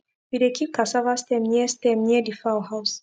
we dey keep cassava stem near stem near the fowl house